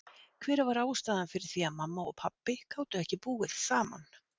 Hver var ástæðan fyrir því að mamma og pabbi gátu ekki búið saman?